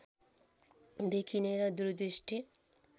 देखिने र दूरदृष्टि